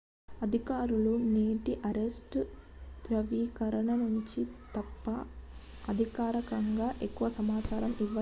అధికారులు నేటి అరెస్ట్ ధ్రువీకరణ గురించి తప్ప అధికారికంగా ఎక్కువ సమాచారం ఇవ్వలేదు